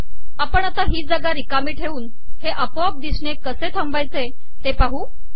आपण आता ही जागा रिकामी ठेवून हे आपोआप दिसणे कसे थांबवावे ते पाहू